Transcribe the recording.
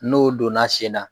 N'o donna sen na